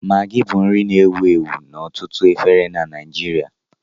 Maggi bụ nri na-ewu ewu n'ọtụtụ efere na Nijiria